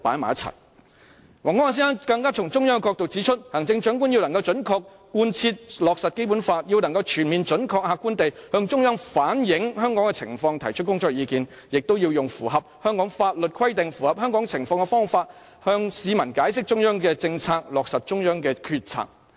王光亞先生更從中央的角度指出，"行政長官要能準確地貫徹落實《基本法》，要能全面、準確、客觀地向中央反映香港的情況，提出工作意見；也要用符合香港法律規定、符合香港情況的方法向市民解釋中央的政策，落實中央的決策"。